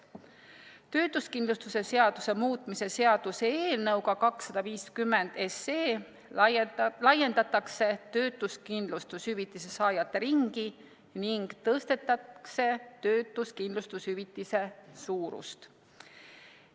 Töötuskindlustuse seaduse muutmise seaduse eelnõuga 250 laiendatakse töötuskindlustushüvitise saajate ringi ning tõstetakse töötuskindlustushüvitise suurust.